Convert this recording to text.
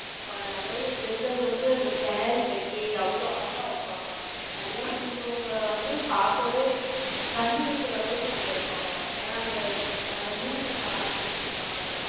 நிறைய பெண்கள் வந்து, அந்த saree கட்டி, அவ்வளவு அழகா இருப்பாங்க கல்யாணம் முடிஞ்சவங்கள வந்து, பாக்கவே, கண்ணு வைக்கிற அளவுக்கு, அங்க இருப்பாங்க. ஏன்னா, அந்த, அந்த நூல்ல, தாலி கோர்த்துருப்பாங்க.